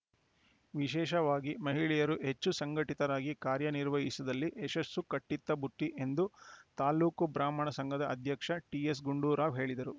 ವಿಶೇಷವಾಗಿ ಮಹಿಳೆಯರು ಹೆಚ್ಚು ಸಂಘಟಿತರಾಗಿ ಕಾರ್ಯನಿರ್ವಹಿಸಿದಲ್ಲಿ ಯಶಸ್ಸು ಕಟ್ಟಿಟ್ಟಬುತ್ತಿ ಎಂದು ತಾಲೂಕು ಬ್ರಾಹ್ಮಣ ಸಂಘದ ಅಧ್ಯಕ್ಷ ಟಿಎಸ್‌ ಗುಂಡೂರಾವ್‌ ಹೇಳಿದರು